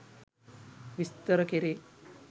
විස්තර කෙරේ.